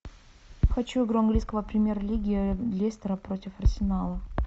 хочу игру английской премьер лиги лестера против арсенала